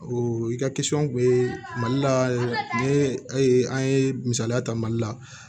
O i ka kun be mali la ni an ye misaliya ta mali la